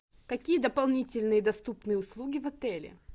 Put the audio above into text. какие дополнительные доступные услуги в отеле